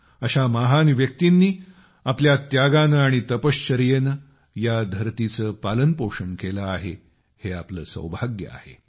अशा महान व्यक्तींनी आपल्या त्यागाने आणि तपश्चर्येने आपल्या या धरतीचे पालनपोषण केले आहे हे आपले सौभाग्य आहे